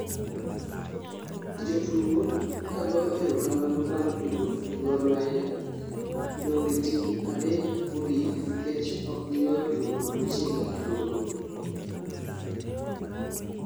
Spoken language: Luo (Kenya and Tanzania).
jotugo kagoyo erokamano bang' tugo gor mahia dong' e tim adek mogik nikech okgiloyo tugo auchiel e tuke go